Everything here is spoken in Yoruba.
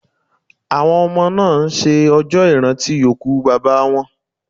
Àwọn ọmọ náà ń ṣe ọjọ́ ìrántí òkú Bàbá wọn